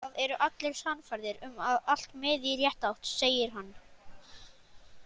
Það eru allir sannfærðir um að allt miði í rétta átt, segir hann.